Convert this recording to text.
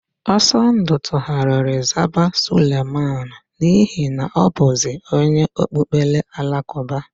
Ọsọndụ tugharịrị zaba Suleman n'ihi na ọ bụzi onye okpukpere Alakụba.